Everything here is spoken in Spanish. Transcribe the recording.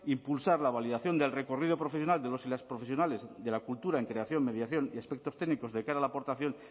impulsar la validación del recorrido profesional de los y las profesionales de la cultura en creación mediación y aspectos técnicos de cara a la aportación